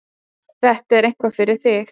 Þetta er eitthvað fyrir þig.